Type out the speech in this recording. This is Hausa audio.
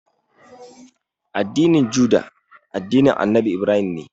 Addinin Juda, addinin Annabi Ibrahim ne.